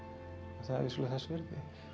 það er vissulega þess virði